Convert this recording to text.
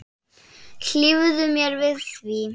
Hlífðu mér við því.